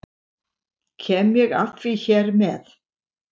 Kem ég að því hér með.